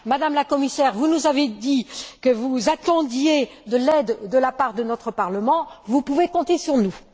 Madame la Commissaire, vous nous avez dit que vous attendiez de l'aide de la part de notre Parlement, vous pouvez compter sur nous.